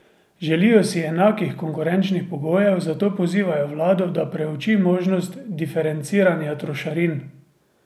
Želijo si enakih konkurenčnih pogojev, zato pozivajo vlado, da preuči možnost diferenciranja trošarin.